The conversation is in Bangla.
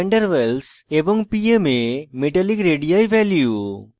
pm এ metallic radii ভ্যালু